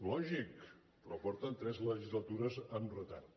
lògic però porten tres legislatures amb retard